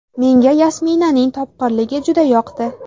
Menga Yasminaning topqirligi juda yoqdi.